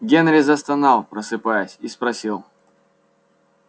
генри застонал просыпаясь и спросил